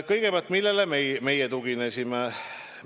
Kõigepealt, millele meie tuginesime?